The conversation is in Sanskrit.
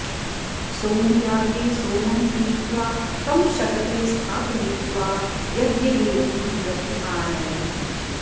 सोमयागे सोमं क्रीत्वा तं शकटे स्थापयित्वा यज्ञवेदीं प्रति आनयन्ति